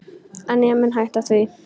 En ég mun hætta því.